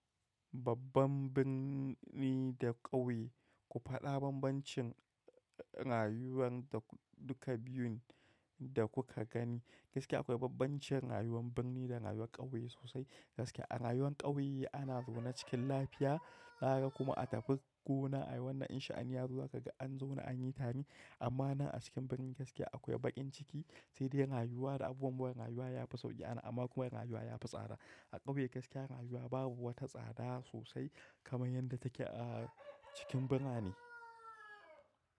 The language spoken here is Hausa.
Babban birni da ƙauye, ku faɗa bambancin rayuwar duka biyun da kuka gani. Gaskiya akwai bambancin rayuwar birni da rayuwar ƙauye sosai. Gaskiya a rayuwar ƙauye ana zaune cikin lafiya, nara kuma a tafi gona ayi wannan in sha'ane zuwa kaga an zaune an yi tame amma na a cikin birni gaskiya akwai baƙin ciki, sai dai rayuwa da abubuwan mure rayuwa yafi sauƙi anan, amma kuma rayuwa yafi tsada. A ƙauye gaskiya rayuwa babu wata tsada sosai kamar yadda take a cikin birane.